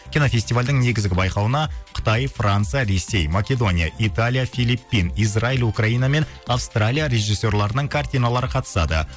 кинофестивальдің негізгі байқауына қытай франция ресей македония италия филиппин израиль украина мен автралия режиссерларының картиналары қатысады